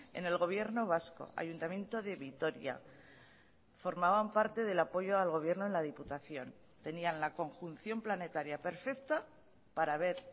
en el gobierno vasco ayuntamiento de vitoria formaban parte del apoyo al gobierno en la diputación tenían la conjunción planetaria perfecta para haber